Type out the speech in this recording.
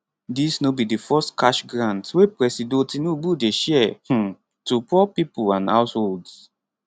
dis no be di first cash grant wey presido tinubu dey share um to poor pipo and households